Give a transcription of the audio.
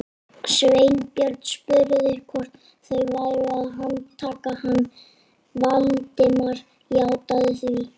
Sveinbjörn spurði hvort þau væru að handtaka hann, Valdimar játaði því.